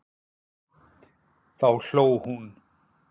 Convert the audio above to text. Þá hló hún.